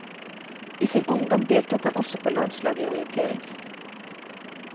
I sin ungdom deltok han også på landslaget i orientering.